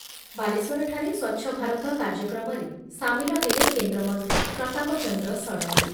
ବାଲେଶ୍ଵରଠାରେ ସ୍ଵଚ୍ଛଭାରତ କାର୍ଯ୍ୟକ୍ରମରେ ସାମିଲ ହେଲେ କେନ୍ଦ୍ରମନ୍ତ୍ରୀ ପ୍ରତାପ ଚନ୍ଦ୍ର ଷଡ଼ଙ୍ଗୀ